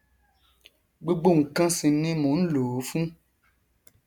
gbogbo nkan sì ni mò nlò ó fún